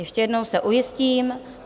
Ještě jednou se ujistím...